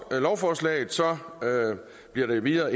lovforslaget bliver det endvidere